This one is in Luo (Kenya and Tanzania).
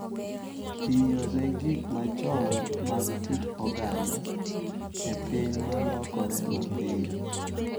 Tiyo ne gik machon mag kit oganda e piny ma lokore mapiyo.